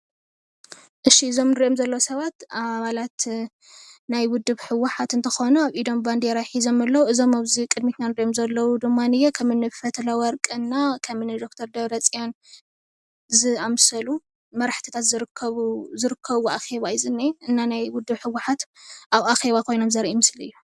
እሺ እዞም እንሪኦም ዘለና ሰባት ኣባለት ናይ ውድብ ህወሓት እንትኾኑ ኣብ ኢዶም ባንዴራ ሒዞም ኣለዉ፡፡ እዞም ኣብዚ ቅድሚትና እንሪኦም ዘለና ድማ ከም እኒ ፈትለወርቅ እና ከም እኒ ደ/ር ደብረፅዮን ዝኣምሰሉ መራሕቲታት ዝርከብዎ ኣኼባ እዩ ዝኒሄ፡፡ ናይ ውድብ ህወሓት ኣብ ኣኼባ ኮይኖም ዘርኢ ምስሊ እዩ፡፡